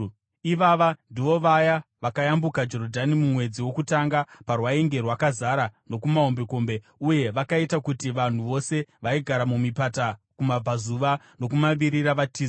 Ivava ndivo vaya vakayambuka Jorodhani mumwedzi wokutanga parwainge rwakazara nokumahombekombe uye vakaita kuti vanhu vose vaigara mumipata, kumabvazuva nokumavirira, vatize.